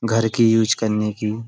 घर की यूज करने की।